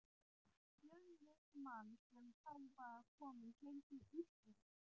Fjölnismann, sem þá var kominn heim til Íslands.